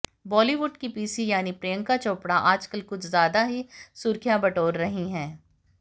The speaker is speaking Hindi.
बॉलीवुड की पीसी यानी प्रियंका चोपड़ा आजकल कुछ ज्यादा ही सुर्खियां बटोर रही हैं